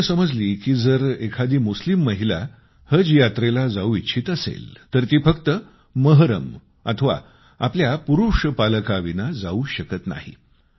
मला गोष्ट समजली की जर एखादी मुस्लिम महिला हजऱ्यात्रेला जाऊ इच्छित असेल तर ती फक्त महरम अथवा आपल्या पुरूष पालकाविना जाऊ शकत नाही